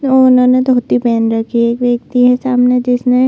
उन्होंने धोती पहन रखी है एक व्यक्ती है सामने जिसने--